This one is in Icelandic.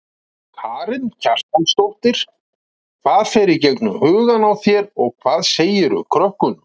Karen Kjartansdóttir: Hvað fer í gegnum hugann á þér og hvað segirðu krökkunum?